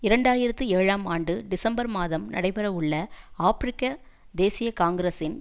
இரண்டு ஆயிரத்தி ஏழாம் ஆண்டு டிசம்பர் மாதம் நடைபெற உள்ள ஆபிரிக்க தேசிய காங்கிரசின்